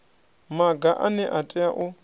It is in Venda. maga ane a tea u